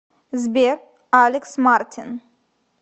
сбер алекс мартин